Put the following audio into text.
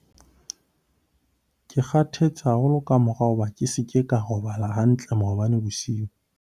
ke kgathetse haholo ka mora hoba ke se ke ka robala hantle maobane bosiu